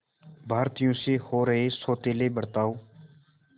भारतीयों से हो रहे सौतेले बर्ताव